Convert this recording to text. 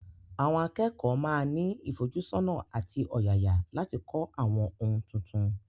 Àwọn akẹ́kọ̀ọ́ máa ní ìfojúsọ́nà àti ọ̀yàyà láti kọ́ àwọn ohun tuntun.